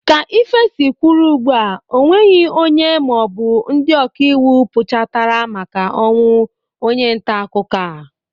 Ka ife si kwụrụ ugbu a onweghi onye maọbụ ndị ọkaiwu puchatara maka ọnwụ onye ntaakụkọ a.